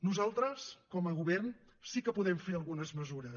nosaltres com a govern sí que podem fer algunes mesures